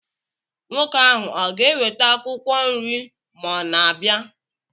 Nwoke ahụ ọ ga-eweta akwụkwọ nri ma ọ na-abịa?